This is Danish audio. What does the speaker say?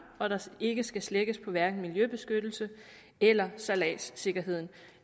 og at der ikke skal slækkes på hverken miljøbeskyttelse eller sejladssikkerhed